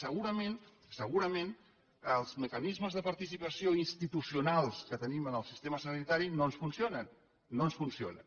segurament els mecanismes de participació institucionals que tenim en el sistema sanitari no ens funcionen no ens funcionen